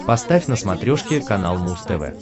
поставь на смотрешке канал муз тв